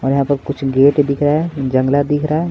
और यहाँ पर कुछ गेट दिख रहा है दिख रहा है।